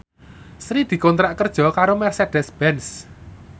Sri dikontrak kerja karo Mercedez Benz